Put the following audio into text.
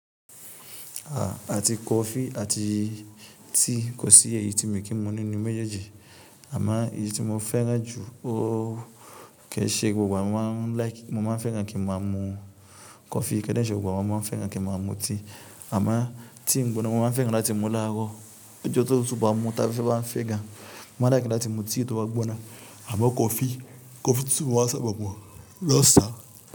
À, àti coffee àti tea kò sí èyí tí mi kì í mu nínú méjèèjì. Àmo èyí tí mo fẹ́ràn jù ó kẹ́ṣẹ́ gbogbo igba mo máa ń like, mo máa ń fẹ́ràn kí mo má a mu coffee kẹ́ṣẹ̀ gbogbo àwọn máa ń fẹ́ràn kí wọ́n má a mu tea. Àmo tea gbìgbóná mo máa ń fẹ́ràn láti mu láàárọ̀, ọjọ́ tó tútu bá mu táfẹfẹ́ bá n fẹ́ gan, mo máa like láti mu tea tó bá gbóná. Àmo coffee, coffee tútu mo máa ń sábà mu lọ́ṣàn.